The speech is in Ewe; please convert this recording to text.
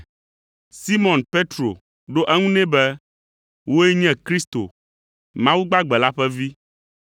Simɔn Petro ɖo eŋu nɛ be, “Wòe nye Kristo, Mawu gbagbe la ƒe Vi.”